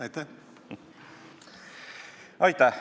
Aitäh!